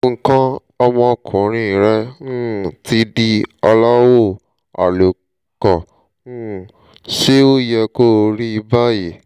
nǹkan ọmọkuùnrin rẹ̀ um ti di aláwọ̀ àlùkò um ṣé ó yẹ kó rí báyìí?